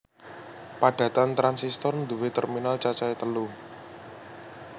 Padatan transistor nduwé terminal cacahe telu